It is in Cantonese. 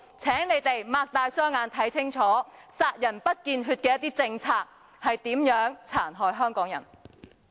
請你們睜開眼睛看清楚，殺人不見血的一些政策如何殘害香港人。